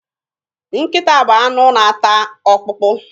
Nkịta bụ anụ na-ata ọkpụkpụ.